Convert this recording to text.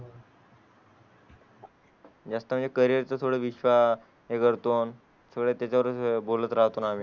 जास्त म्हणजे करिअर थोडं विश्वा करतो. थोड्याच वर बोलत राहतो